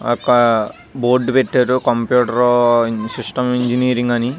ఒక బోర్డు పెటారు computer system engineering అని.